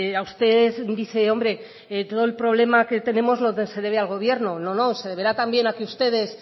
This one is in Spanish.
a usted dice hombre todo el problema que tenemos se debe al gobierno no no se deberá también a que ustedes